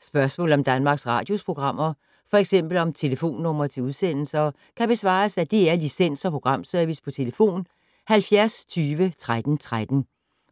Spørgsmål om Danmarks Radios programmer, f.eks. om telefonnumre til udsendelser, kan besvares af DR Licens- og Programservice: tlf. 70 20 13 13,